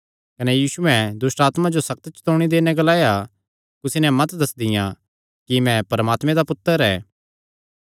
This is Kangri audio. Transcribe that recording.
कने यीशुयैं दुष्टआत्मां जो सक्त चतौणी देई नैं ग्लाया कुसी नैं मत दस्सदियां कि मैं परमात्मे दा पुत्तर ऐ